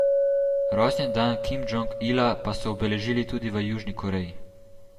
Rojstni dan Kim Džong Ila pa so obeležili tudi v Južni Koreji.